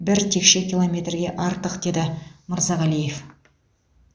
бір текше километрге артық деді мырзағалиев